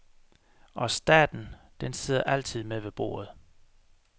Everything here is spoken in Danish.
Og staten, den sidder altid med ved bordet.